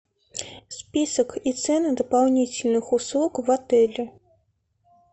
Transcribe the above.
список и цены дополнительных услуг в отеле